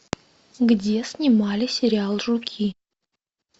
где снимали сериал жуки